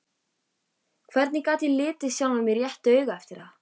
Hvernig gat ég litið sjálfan mig réttu auga eftir það?